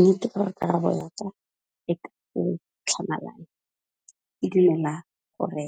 Nne karabo ya ka e ka tlhamalalo, ke dumela hore